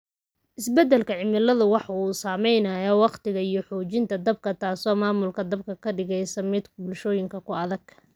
Isbeddelka cimiladu waxa uu saameeyaa wakhtiga iyo xoojinta dabka, taas oo maamulka dabka ka dhigaysa mid bulshooyinka ku adag.